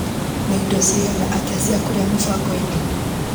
Nĩ indo cigana atĩa cia kũrĩa mũbango-inĩ .